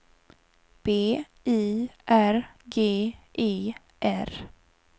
B I R G E R